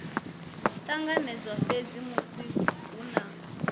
ṱanganedzwa fhedzi musi hu na